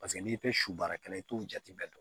Paseke n'i tɛ su baarakɛla ye i t'o jate bɛɛ dɔn